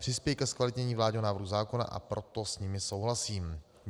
Přispějí ke zkvalitnění vládního návrhu zákona, a proto s nimi souhlasím.